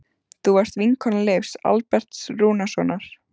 Þú varst vinkona Leifs Alberts Rúnarssonar.